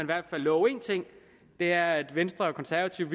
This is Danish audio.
hvert fald love en ting og det er at venstre og konservative